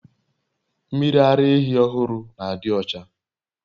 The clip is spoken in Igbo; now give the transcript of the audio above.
Mmiri ara ehi ohuru na adiocha